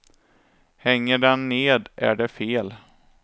Hänger den ned är det fel.